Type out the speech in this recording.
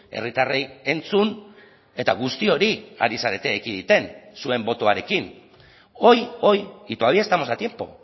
herritarrei entzun eta guzti hori ari zarete ekiditen zuen botoarekin hoy hoy y todavía estamos a tiempo